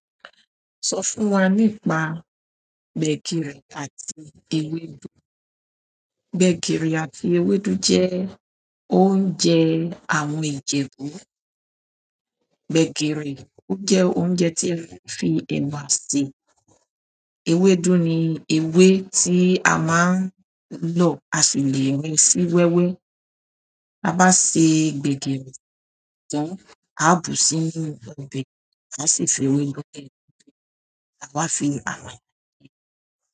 Sọ fún wa nípa gbẹgiri àti eweedu. Gbẹ̀gìrì àti ewédú jẹ́ oúnjẹ àwọn Ìjẹ̀bú. Gbẹ̀gìrì ó jẹ́ oúnjẹ tí a fi ẹ̀wà sè, ewédú ni ewé tí a máa ń lò à sì lè rẹ̀ sí wẹ́wẹ́. Bá bá ṣe gbẹ̀gìrì tán, a bù sí inú ọbẹ̀, a sì fi ewédú sì inú, a wá fi ha nú.